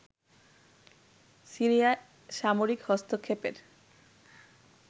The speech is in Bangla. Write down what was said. সিরিয়ায় সামরিক হস্তক্ষেপের